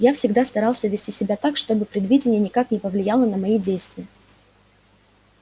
я всегда старался вести себя так чтобы предвидение никак не повлияло на мои действия